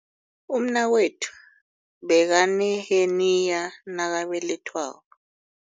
Umnakwethu bekaneheniya nakabelethwako.